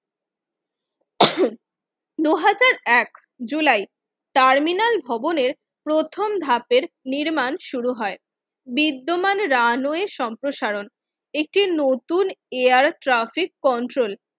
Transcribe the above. দুই হাজার এক জুলাই টার্মিনাল ভবনের প্রথম ধাপের নির্মাণ শুরু হয় বিদ্যমান রানওয়ে সম্প্রসারণ একটি নতুন এয়ার ট্রাফিক কন্ট্রোল